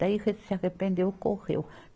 Daí ele se arrependeu, correu.